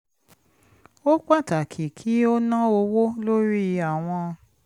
ó pàtàkì kí ó ná owó lórí àwọn